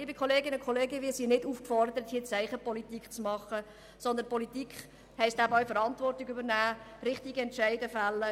Wir sind aber hier nicht aufgefordert, Zeichenpolitik zu betreiben, vielmehr heisst Politik, Verantwortung zu übernehmen und richtige Entscheidung zu fällen.